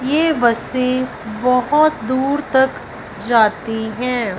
ये बसे बहोत दूर तक जाती है।